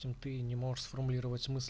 ты не можешь сформулировать